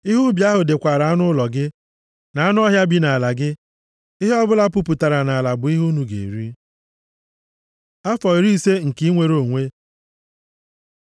Ihe ubi ahụ dịkwara anụ ụlọ gị, na anụ ọhịa bi nʼala gị. Ihe ọbụla puputara nʼala bụ ihe unu ga-eri. Afọ iri ise nke inwere onwe